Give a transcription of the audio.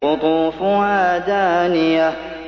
قُطُوفُهَا دَانِيَةٌ